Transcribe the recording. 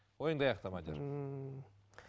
ойыңды аяқта мадияр ммм